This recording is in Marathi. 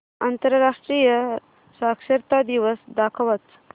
आंतरराष्ट्रीय साक्षरता दिवस दाखवच